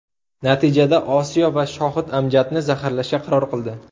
Natijada Osiyo va Shohid Amjadni zaharlashga qaror qildi.